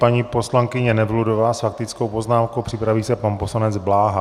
Paní poslankyně Nevludová s faktickou poznámkou, připraví se pan poslanec Bláha.